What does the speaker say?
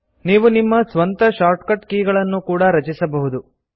ನೀವು ನಿಮ್ಮ ಸ್ವಂತ ಶಾರ್ಟ್ಕಟ್ ಕೀ ಳನ್ನೂ ಕೂಡಾ ರಚಿಸಬಹುದು